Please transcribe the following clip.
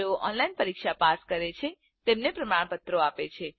જેઓ ઓનલાઇન પરીક્ષા પાસ કરે છે તેમને પ્રમાણપત્ર આપે છે